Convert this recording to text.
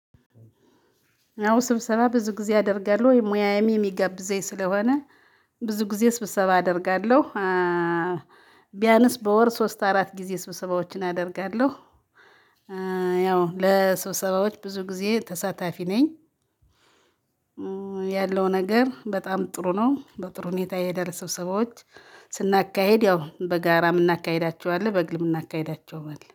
አዎ ስብሰባ ብዙ ጊዜ አደርጋለሁ። ወይ ሙያዬ የሚገብዘኝ ስለሆነ ብዙ ጊዜ ስብሰባ አደርጋለሁ። ቢያንስ በወር ሶስት አራት ጊዜ ስብሰባዎችን አደርጋለሁ። ለስብሰባዎች ብዙ ጊዜ ተሳታፊ ነኝ። ያለው ነገር በጣም ጥሩ ነው በጥሩ ሁኔታ ይሄዳል። ስብሰባዎች ስናካሄድ ያው በጋራ የምናካሂዳቸው አለ በግል የምናካሂዳቸው አለ